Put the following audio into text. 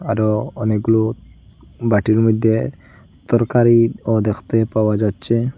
আরও অনেকগুলো বাটির মইধ্যে তরকারিও দেখতে পাওয়া যাচ্ছে।